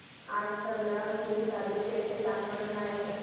आज संग्रामपूर तालुक्या चे तापमान काय आहे